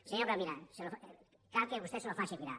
senyor corominas cal que vostè s’ho faci mirar